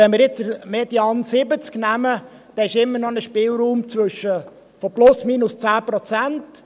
Wenn wir jetzt den Median von 70 Prozent nehmen, dann gibt es immer noch einen Spielraum von plus minus 10 Prozent.